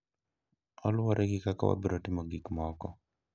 Oluwore gi kaka wabiro timo gik moko.